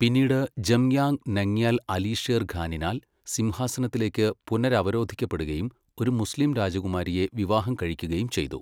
പിന്നീട് ജംയാങ് നംഗ്യാൽ അലി ഷേർ ഖാനിനാൽ സിംഹാസനത്തിലേക്ക് പുനരവരോധിക്കപ്പെടുകയും ഒരു മുസ്ലീം രാജകുമാരിയെ വിവാഹം കഴിക്കുകയും ചെയ്തു.